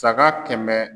Saga kɛmɛ